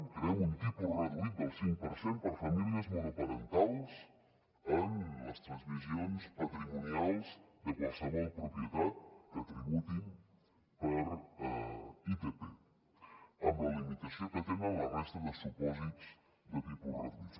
creem un tipus reduït del cinc per cent per famílies mono parentals en les transmissions patrimonials de qualsevol propietat que tributin per itp amb la limitació que tenen la resta de supòsits de tipus reduïts